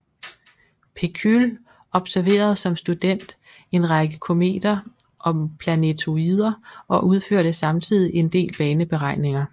Pechüle observerede som student en række kometer og planetoider og udførte samtidig en del baneberegninger